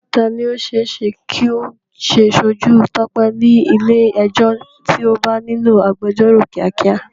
Ta ni ó ṣe é ṣe kí ó ṣojú Tope ní ilé ẹjọ́ tí ó bá nílò agbẹjọ́rò kíákíá?